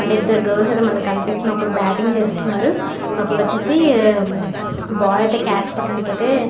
అంటే ఇద్దరు గర్ల్స్ కనిపిస్తున్నారు ఒకరు బేటింగ్ చేస్తున్నారు ఒకళ్ళు వచ్చేసి బాల్ అయితే కాచ్ పట్టడానికి అయితే --